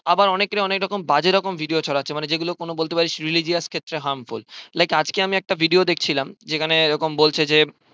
আবার অনেকে অনেক রকম বাজে রকম video ছড়াচ্ছে মানে যেগুলো কোনো বলতে পারিস religions ক্ষেত্রে harmful like আজকে আমি একটা video দেখছিলাম যেখানে এরকম বলছে যে